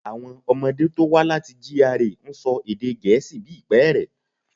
Àwọn ọmọdé tó wá láti GRA ń sọ èdè gẹ̀ẹ́sì bí ìpẹ́ẹ̀rẹ̀.